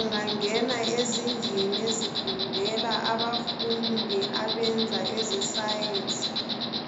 Ungangena ezindlini ezifundela abafundi abenza eze Science